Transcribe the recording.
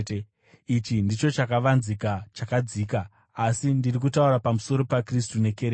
Ichi ndicho chakavanzika chakadzika, asi ndiri kutaura pamusoro paKristu nekereke.